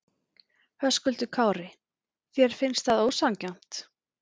Höskuldur Kári: Þér finnst það ósanngjarnt?